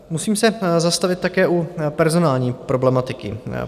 Musím se zastavit také u personální problematiky.